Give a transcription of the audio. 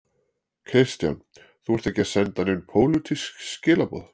Kristján: Þú ert ekki að senda nein pólitísk skilaboð?